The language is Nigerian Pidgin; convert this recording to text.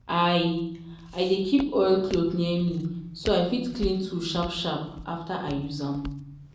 i i dey keep oilcloth near me so i fit clean tool sharp sharp after i use am.